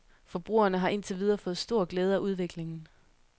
Forbrugerne har ind til videre fået stor glæde af udviklingen.